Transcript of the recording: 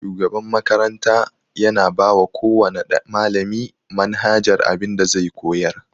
Shugaban makarata yana bawa kowana malami manhajar abin da zai koyar.